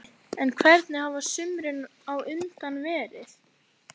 Gísli: En hvernig hafa sumrin á undan verið?